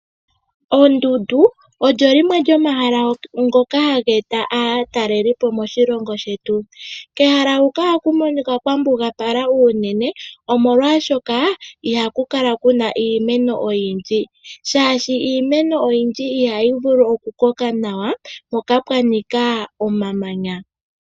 Oondundu ohadhi eta aatalelipo moshilongo shetu. Kehala huka ohaku monika kwambugàpala unene oshoka kakuna iimeno oyindji. Iimeno oyindji ihayi vulu oku koka momamanya.